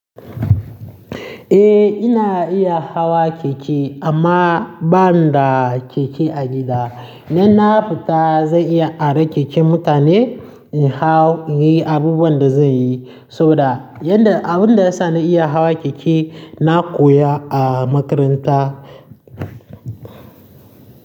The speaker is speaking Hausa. Eh ina iya hawa keke amma banida keke a gida. In na fita zan iya aran keken mutane in hau in yi abubuwan da zan yi, saboda abinda ya sa na iya hawa keke na koya a makaranta.